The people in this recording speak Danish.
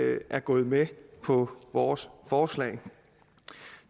er gået med på vores forslag